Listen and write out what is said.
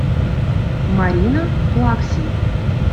марина плаксина